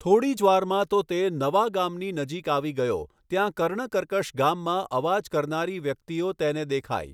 થોડી જ વારમાં તો તે નવા ગામની નજીક આવી ગયો ત્યા કણૅકર્કશ ગામમાં અવાજ કરનારી વ્યક્તિઓ તેને દેખાઈ.